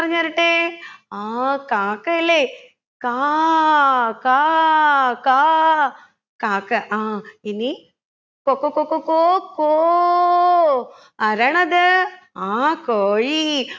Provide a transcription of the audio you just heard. പറഞ്ഞ് തരട്ടെ ആ കാക്കയല്ലെ കാ കാ കാ കാക്ക ആ ഇനി കൊകൊ കൊക്കൊ ക്കോ കോ ആരാണ് അത് ആ കോഴി